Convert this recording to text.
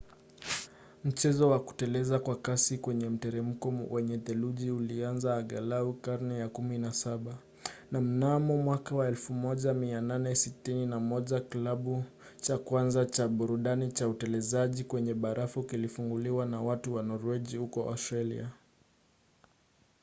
mchezo wa kuteleza kwa kasi kwenye mteremko wenye theluji ulianza angalau karne ya 17 na mnamo 1861 kilabu cha kwanza cha burudani cha utelezaji kwenye barafu kilifunguliwa na watu wa norwegi huko australia